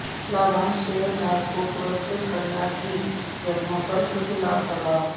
लाभांश शेयरधारकों पुरस्कृत करना की गणना पर शुद्ध लाभ प्रभाव